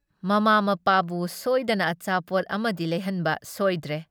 ꯃꯃꯥ ꯃꯄꯥꯕꯨ ꯁꯣꯏꯗꯅ ꯑꯆꯥꯄꯣꯠ ꯑꯃꯗꯤ ꯂꯩꯍꯟꯕ ꯁꯣꯏꯗ꯭ꯔꯦ ꯫